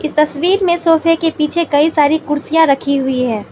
इस तस्वीर में सोफे के पीछे कई सारी कुर्सियां रखी हुई है।